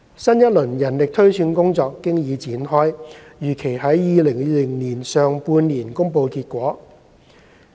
新一輪人力推算工作經已展開，預期於2020年上半年公布結果。